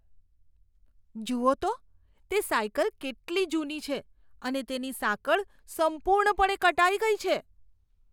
જુઓ તો, તે સાયકલ કેટલી જૂની છે અને તેની સાંકળ સંપૂર્ણપણે કટાઈ ગઈ છે.